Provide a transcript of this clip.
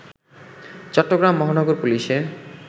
চট্টগ্রাম মহানগর পুলিশের